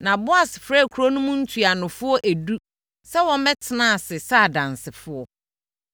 Na Boas frɛɛ kuro no mu ntuanofoɔ edu sɛ wɔmmɛtena ase sɛ adansefoɔ.